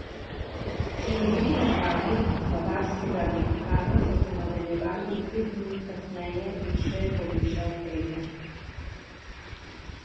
Siloviti napadi bavarskega velikana so se nadaljevali in pet minut kasneje je še povišal prednost.